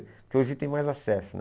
Porque hoje tem mais acesso, né?